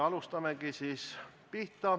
Alustame.